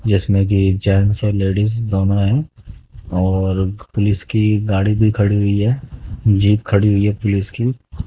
इसमें कि जेंट्स और लेडिज दोनों हैं और पुलिस की गाड़ी भी खड़ी हुई है जीप खड़ी हुई है पुलिस की।